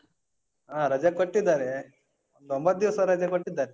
ಹ, ರಜೆ ಕೊಟ್ಟಿದ್ದಾರೆ. ಒಂಬತ್ತು ದಿವ್ಸ ರಜೆ ಕೊಟ್ಟಿದ್ದಾರೆ.